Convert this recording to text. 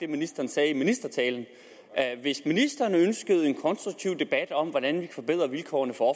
ministeren sagde i ministertalen hvis ministeren ønskede en konstruktiv debat om hvordan vi forbedrer vilkårene for